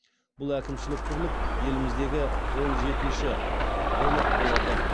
бұл әкімшілік бірлік еліміздегі он жетінші аймақ болады